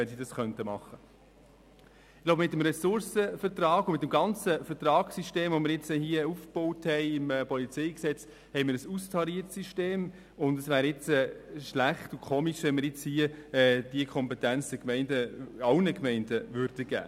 Ich glaube, mit dem Ressourcenvertrag und dem ganzen Vertragssystem, das wir jetzt im PolG aufgebaut haben, liegt ein austariertes System vor und es wäre schlecht und komisch, wenn man diese Kompetenz nun allen Gemeinden geben würde.